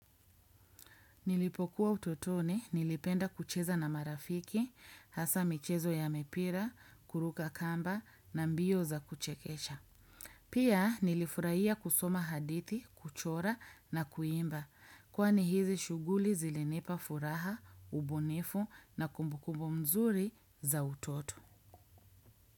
Nilipokuwa utotoni, nilipenda kucheza na marafiki, hasa michezo ya mipira, kuruka kamba na mbio za kuchekesha. Pia nilifurahia kusoma hadithi, kuchora na kuimba, kwani hizi shughuli zilinipa furaha, ubunifu na kumbukumbu mzuri za utoto.